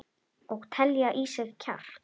Og telja í sig kjark.